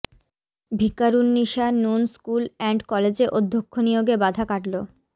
Viqarunnisa Noon school and কলেজে অধ্যক্ষ নিয়োগে বাধা কাটলো